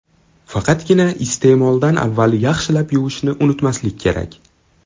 Faqatgina iste’moldan avval yaxshilab yuvishni unutmaslik kerak.